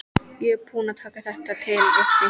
Ég er búin að taka þetta til uppi.